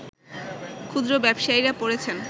ক্ষুদ্র ব্যবসায়ীরা পড়েছেন